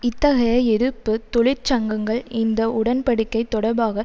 இத்தகைய எதிர்ப்பு தொழிற்சங்கங்கள் இந்த உடன் படிக்கை தொடர்பாக